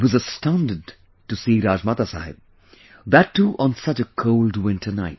I was astounded to see Rajmata Sahab, that too on such a cold winter night